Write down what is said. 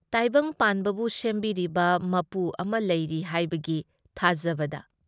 ꯇꯥꯏꯕꯪꯄꯥꯟꯕꯕꯨ ꯁꯦꯝꯕꯤꯔꯤꯕ ꯃꯄꯨ ꯑꯃ ꯂꯩꯔꯤ ꯍꯥꯏꯕꯒꯤ ꯊꯥꯖꯕꯗ꯫